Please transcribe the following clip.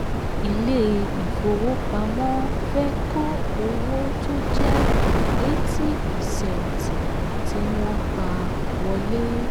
ilé ifowópamọ́ fẹ́ kó owó tó jẹ́ eighty percent ti wọ́n pá wọlé.